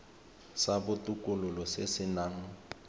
sa botokololo se se nang